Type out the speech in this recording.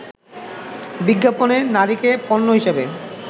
বিজ্ঞাপনে নারীকে পণ্য হিসেবে